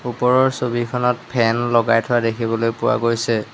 ওপৰৰ ছবিখনত ফেন লগাই থোৱা দেখিবলৈ পোৱা গৈছে।